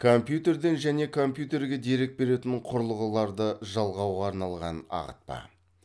компьютерден және компьютерге дерек беретін құрылғыларды жалғауға арналған ағытпа